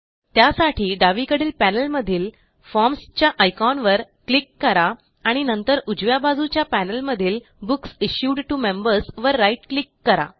त्यासाठी डावीकडील पॅनेलमधील फॉर्म्स च्या आयकॉनवर क्लिक करा आणि नंतर उजव्या बाजूच्या पॅनेलमधील बुक्स इश्यूड टीओ Membersवर राईट क्लिक करा